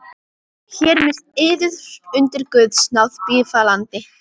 Hér með yður undir guðs náð bífalandi.